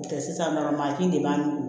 N'o tɛ sisan nɔ mansin de b'an nugu